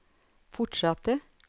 fortsatte